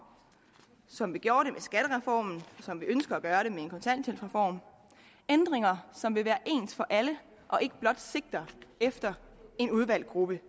som vi gjorde og som vi ønsker at gøre det med en kontanthjælpsreform ændringer som vil være ens for alle og ikke blot sigter efter en udvalgt gruppe